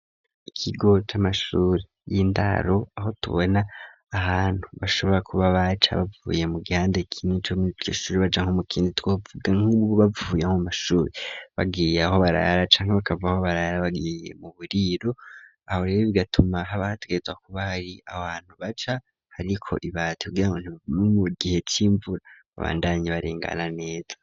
Ikigo c'amashuri y'indaro aho tubona ahantu bashobora kuba baca bavuye mu gihande kimwe co mwishure baja mukindi twavuga nkubu bavuye nko mwishuri bagiye aho barara canke bakava aho barara bagiye mu buriro, aho rero bigatuma hategerezwa kuba hari ahantu baca hariko ibati kugirango ntibavigwe mu gihe c'imvura babandanye barengana neza.